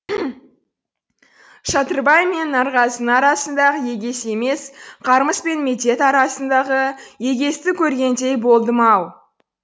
шатырбай мен нарғазының арасындағы егес емес қармыс пен медет арасындағы егесті көргендей болдым ау